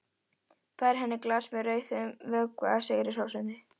Færir henni glas með rauðum vökva sigri hrósandi.